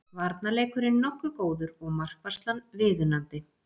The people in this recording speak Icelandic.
Varnarleikurinn nokkuð góður og markvarslan viðunandi